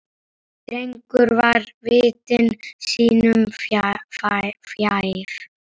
Drengur var viti sínu fjær.